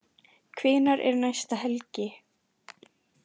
Hvenær er næsta helgi?